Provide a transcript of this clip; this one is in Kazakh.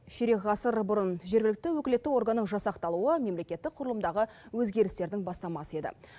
ширек ғасыр бұрын жергілікті өкілетті органның жасақталуы мемлекеттік құрылымдағы өзгерістердің бастамасы еді